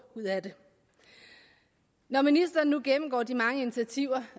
ud af det når ministeren nu gennemgår de mange initiativer